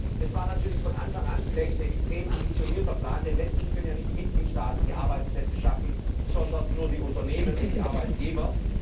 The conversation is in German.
Herr Kommissar, das war vielleicht von Anfang an ein extrem ambitionierter Plan, denn letztlich können ja nicht die Mitgliedstaaten die Arbeitsplätze schaffen, sondern nur die Unternehmen und die Arbeitgeber.